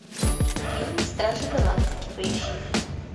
фильм стражи галактики поищи